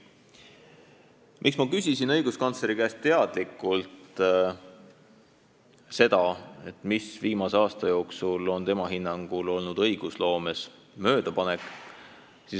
Miks ma küsisin õiguskantsleri käest teadlikult seda, mis viimase aasta jooksul on tema hinnangul olnud õigusloomes möödapanek?